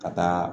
Ka taa